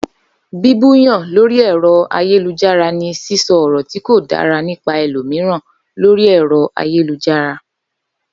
Bíbú yàn lórí ẹ̀rọ ayélujára ni sísọ ọ̀rọ̀ tí kò dára nípa ẹlòmíràn lórí ẹ̀rọ ayélujára